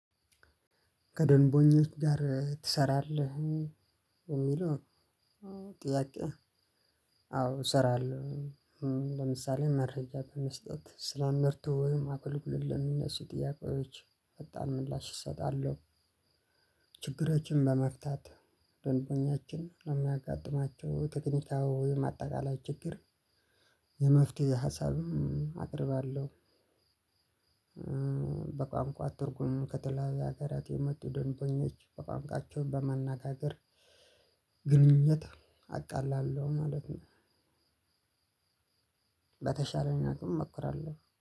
ከደንበኞች ጋር ትሰራለህ የሚለው ጥያቄ? አዎ እሰራለሁ። ለምሳሌ መረጃ በመስጠት ስራን መርቶ ወይም አክልኩልኝ የሚነሱ ጥያቄዎች ፈጣን ምላሽ እሰጣለሁ። ችግራችንም በመፍታት ደንበኛችን ነው የሚያጋጥማቸው ቴክኒካዊ ማጠቃለያ ችግር የመፍትሄ ሀሳብም አቀርባለሁ። በቋንቋ ትርጉም ከተለያየ ሀገራት የመጡ ደንበኞች በቋንቋቸው በማነጋገር ግንኙነት አቃላለሁ ማለት ነው። በተሻለ እኛ ግን እሞክራለሁ